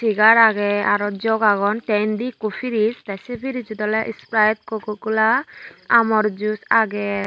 segar agey aro jug agon tey inde ekkho perise tey perise sot ola sprite koka kola amor juse agey.